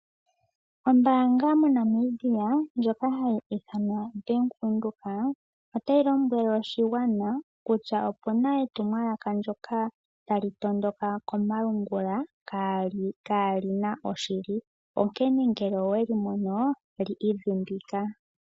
Ombanga mo Namibia ndjoka hayi ithanwa Bank Windhoek otayi lombwele oshigwana kutya opena etumwala ndjoka tali tondoka komalungula kaalina oshili onkene ngele owelimono li idhimbika.